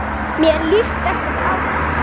Mér líst ekki á þetta.